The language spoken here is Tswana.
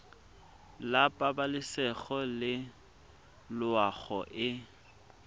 la pabalesego le loago e